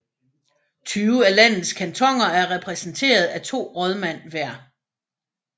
Tyve af landets kantoner er repræsenteret af to rådmænd hver